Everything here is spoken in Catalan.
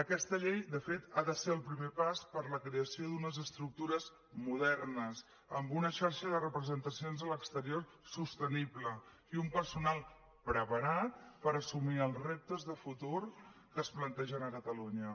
aquesta llei de fet ha de ser el primer pas per a la creació d’unes estructures modernes amb una xarxa de representacions a l’exterior sostenible i un personal preparat per assumir els reptes de futur que es plantegen a catalunya